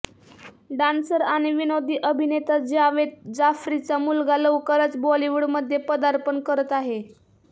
dancer आणि विनोदी अभिनेता जावेद जाफ्रीचा मुलगा लवकरच बॉलिवूडमध्ये पदार्पण करत आहे